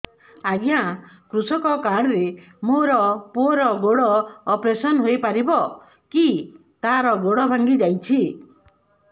ଅଜ୍ଞା କୃଷକ କାର୍ଡ ରେ ମୋର ପୁଅର ଗୋଡ ଅପେରସନ ହୋଇପାରିବ କି ତାର ଗୋଡ ଭାଙ୍ଗି ଯାଇଛ